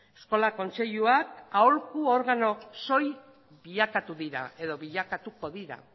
eskola kontseiluak aholku organo soil bilakatu dira edo bilakatuko dira